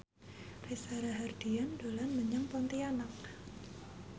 Reza Rahardian dolan menyang Pontianak